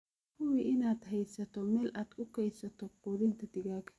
Hubi inaad haysato meel aad ku kaydiso quudinta digaagga.